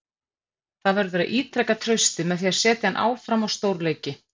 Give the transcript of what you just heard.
Það verður að ítreka traustið með að setja hann áfram á stórleiki.